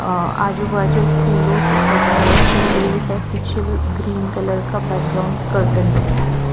अं आजू बाजू फूलों से सजावट की गई है पीछे ग्रीन कलर का बैकग्राउंड कर्टन है।